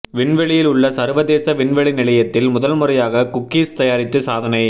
விண்வெளியில் உள்ள சர்வதேச விண்வெளி நிலையத்தில் முதல் முறையாக குக்கீஸ் தயாரித்து சாதனை